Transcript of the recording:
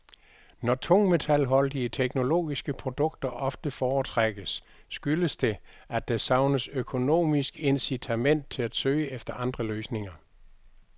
Når tungmetalholdige teknologiske produkter ofte foretrækkes, skyldes det, at der savnes økonomisk incitament til at søge efter andre løsninger.